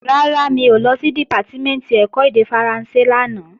Rárá, mi ò lọ sí Dìpátímẹ̀ntì ẹ̀kọ́ èdè Faransé lánàá